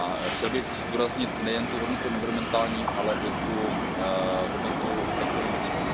Chtěl bych zdůraznit nejen hodnotu environmentální, ale i hodnotu ekonomickou.